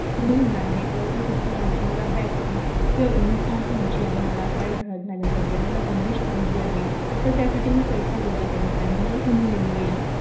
सुरु होनार आहे त मला काही पुस्तकांची मला Bag ची Uniform पाहिजे आहे मला शाळेत घालायला वगैरे मला गनवेश पाहिजे आहे. तर त्यासाठी मी पैसा गोडा करत आहे मला कुनी नाई आहे